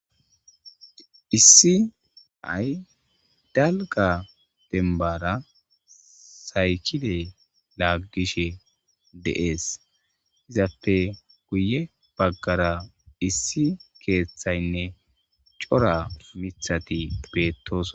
Issi nay dalga dembara saykile laaggishe deees izappe guye baggara issi keeththaynne cora mithati bettos.